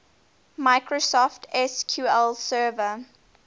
microsoft sql server